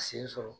Sen sɔrɔ